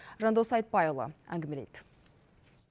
жандос айтпайұлы әңгімелейді